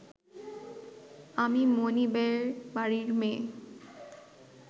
আমি মনিবের বাড়ির মেয়ে